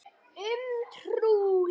Um trú.